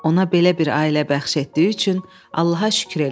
Ona belə bir ailə bəxş etdiyi üçün Allaha şükür elədi.